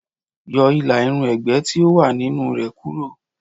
Yọ ìlà-irun ẹ̀gbẹ́ tí ó wà nínú re kúrò.